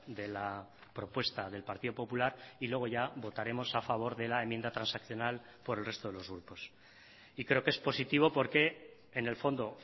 de la propuesta del partido popular y luego ya votaremos a favor de la enmienda transaccional por el resto de los grupos y creo que es positivo porque en el fondo